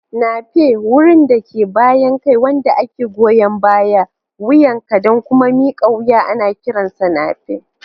Nape: Wurin da ke bayan kai wanda ke goyan bayan wuyanka da kuma mika wuya ana kiransa nape.